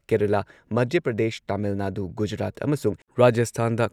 ꯀꯦꯔꯂꯥ, ꯃꯙ꯭ꯌ ꯄ꯭ꯔꯗꯦꯁ, ꯇꯥꯃꯤꯜ ꯅꯥꯗꯨ, ꯒꯨꯖꯔꯥꯠ ꯑꯃꯁꯨꯡ ꯔꯥꯖꯁꯊꯥꯟꯗ